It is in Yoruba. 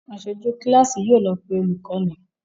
Aṣojú kíláàsì yóò lọ pé olùkọ́ni